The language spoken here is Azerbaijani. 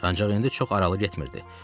Ancaq indi çox aralı getmirdi.